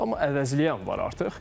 Amma əvəzliyən var artıq.